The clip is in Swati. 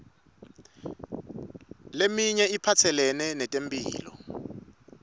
leminye iphatselene netemphilo